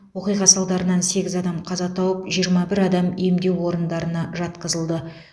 оқиға салдарынан сегіз адам қаза тауып жиырма бір адам емдеу орындарына жатқызылды